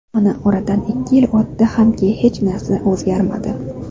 Mana oradan ikki yil o‘tdi hamki hech narsa o‘zgarmadi”.